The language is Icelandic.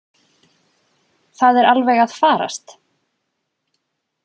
Það er alveg að farast.